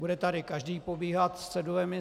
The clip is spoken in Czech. Bude tady každý pobíhat s cedulemi.